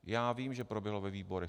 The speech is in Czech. Já vím, že proběhlo ve výborech.